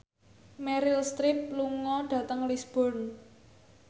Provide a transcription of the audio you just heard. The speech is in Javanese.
Meryl Streep lunga dhateng Lisburn